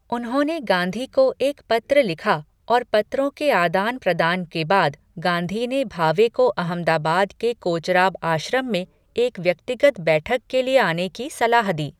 उन्होंने गांधी को एक पत्र लिखा और पत्रों के आदान प्रदान के बाद, गांधी ने भावे को अहमदाबाद के कोचराब आश्रम में एक व्यक्तिगत बैठक के लिए आने की सलाह दी।